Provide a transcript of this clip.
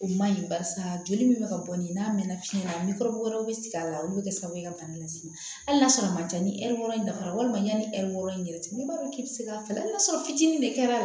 O man ɲi barisa joli min bɛ ka bɔ ni n'a mɛnna fiɲɛ na wɛrɛw bɛ sigi a la olu bɛ kɛ sababu ye ka bana las'i ma hali n'a sɔrɔ a man ca ni hɛri wɔɔrɔ in dafara walima yanni ɛri wɔɔrɔ in yɛrɛ n'i b'a dɔn k'i bɛ se k'a falen hali n'a sɔrɔ fitinin de kɛra